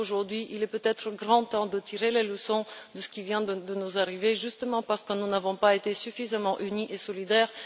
Par conséquent, aujourd'hui, il est peut être grand temps de tirer les leçons de ce qui vient de nous arriver, justement parce que nous n'avons pas été suffisamment unis et solidaires.